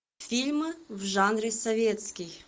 фильмы в жанре советский